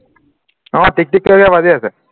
অ টিক টিক কৰি বাজি আছে